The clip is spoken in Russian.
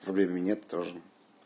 времени нет тоже